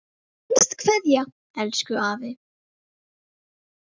HINSTA KVEÐJA Elsku afi.